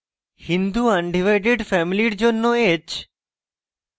hindu undivided family জন্য h